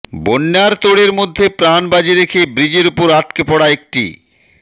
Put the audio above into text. বন্যার তোড়ের মধ্যে প্রাণ বাজি রেখে ব্রিজের ওপর আটকে পড়া একটি